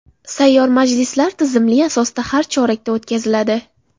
Sayyor majlislar tizimli asosda har chorakda o‘tkaziladi.